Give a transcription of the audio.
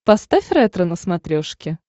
поставь ретро на смотрешке